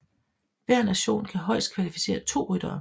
Hver nation kan højest kvalificere to ryttere